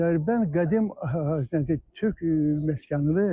Dərbənd qədim türk məskənidir.